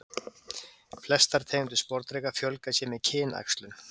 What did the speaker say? Flestar tegundir sporðdreka fjölga sér með kynæxlun.